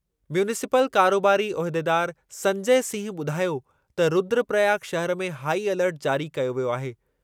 Municipal कारोबारी उहिदेदारु संजय सिंह ॿुधायो त रुद्रप्रयाग शहिर में हाई अलर्ट जारी कयो वियो आहे।